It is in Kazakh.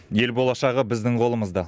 ел болашағы біздің қолымызда